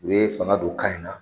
U ye fanga don ka in na